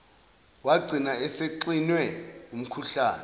wagcina esexinwe umkhuhlane